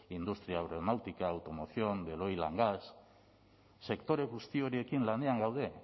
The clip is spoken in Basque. industria aeronáutica automoción de loirangas sektore guzti horiekin lanean gaude